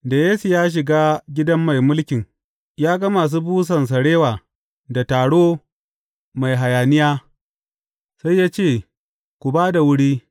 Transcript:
Da Yesu ya shiga gidan mai mulkin ya ga masu busan sarewa da taro mai hayaniya, sai ya ce, Ku ba da wuri.